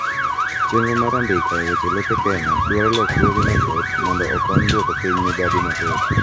chenro mar andika e weche lope Kenya dwaro lokruoge mathoth mondo okony duoko piny mibadhi mathoth